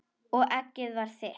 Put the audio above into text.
Og eggið var þitt!